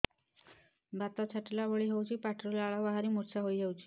ବାତ ଛାଟିଲା ଭଳି ହଉଚି ପାଟିରୁ ଲାଳ ବାହାରି ମୁର୍ଚ୍ଛା ହେଇଯାଉଛି